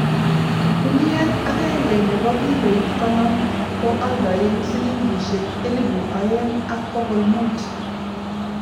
guniet agenge nebo kiloit konom ko oldoen silingisiek elipu aeng ak bokol mut